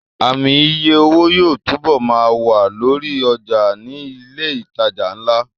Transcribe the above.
Ààmì iye owó yóò túbọ̀ ma wà lórí ọjà ní ilẹ̀ ìtajà ńlá